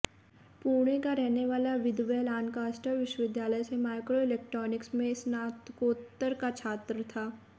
पुणे का रहने वाला विदवे लानकास्टर विश्वविद्यालय से माइक्रोइलेक्ट्रानिक में स्नात्कोत्तर का छात्र था